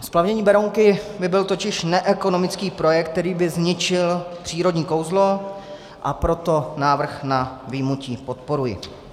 Splavnění Berounky by byl totiž neekonomický projekt, který by zničil přírodní kouzlo, a proto návrh na vyjmutí podporuji.